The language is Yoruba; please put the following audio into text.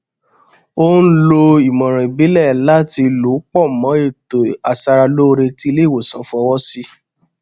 ó n lo ìmọràn ìbílẹ láti lò pọ mọ ètò aṣara lóore tí ilé ìwòsàn fọwọ sí